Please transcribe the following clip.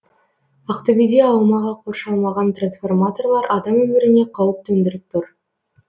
ақтөбеде аумағы қоршалмаған трансформаторлар адам өміріне қауіп төндіріп тұр